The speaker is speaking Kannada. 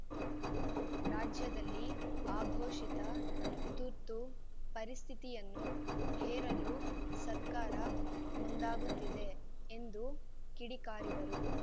ರಾಜ್ಯದಲ್ಲಿ ಆಘೋಷಿತ ತುರ್ತು ಪರಿಸ್ಥಿಯನ್ನು ಹೇರಲು ಸರ್ಕಾರ ಮುಂದಾಗುತ್ತಿದೆ ಎಂದು ಕಿಡಿಕಾರಿದರು